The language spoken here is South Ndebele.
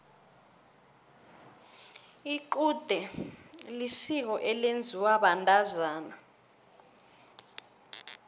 icude lisiko elenziwa bantazana